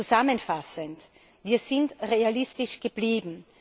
Zusammenfassend Wir sind realistisch geblieben.